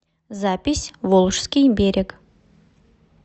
запись волжский берег